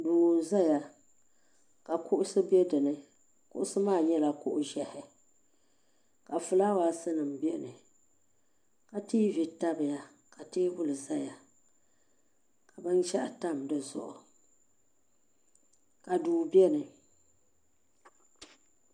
Duu n zaya ka kuɣusi be dinni kuɣusi maa nyɛla kuɣ'ʒehi ka filaawaasi nima biɛni ka tiivi tabiya ka teebuli zaya ka binshaɣu tam di zuɣu ka duu biɛni.